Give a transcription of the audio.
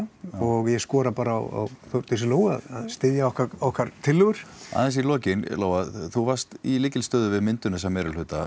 og ég skora bara á Þórdísi Lóu að styðja okkar okkar tillögur aðeins í lokin Lóa þú varst í lykilstöðu við myndun þessa meirihluta